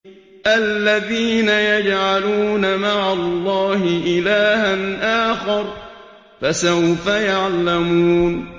الَّذِينَ يَجْعَلُونَ مَعَ اللَّهِ إِلَٰهًا آخَرَ ۚ فَسَوْفَ يَعْلَمُونَ